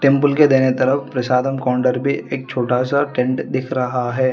के दाहिने तरफ प्रसादम काउंटर पे एक छोटा सा टेंट दिख रहा है।